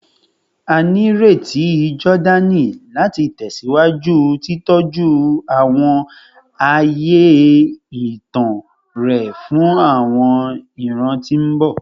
A nireti Jordani lati tẹsiwaju titọju awọn aaye itan rẹ fun awọn iran ti mbọ